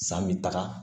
San bɛ taga